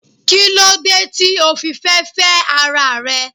Kílódé tí o fi fẹ́ féẹ́ ara rẹ